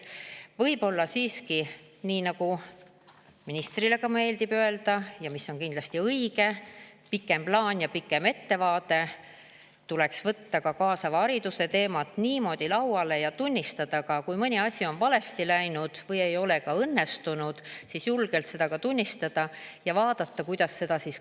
Võib-olla siiski – nagu ministrile meeldib öelda ja mis on kindlasti õige: pikem plaan ja pikem ettevaade – tuleks võtta ka kaasava hariduse teemad niimoodi lauale ning kui mõni asi on valesti läinud või ei ole õnnestunud, siis julgelt seda tunnistada ja vaadata, kuidas seda parandada.